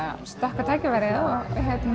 stökk á tækifærið og